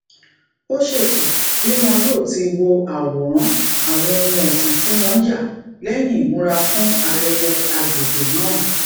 ó ṣètò bi won yóò ti wo àwòrán àwọn ohun ọsin ti won ya leyin imura fún ayẹyẹ agbegbe náà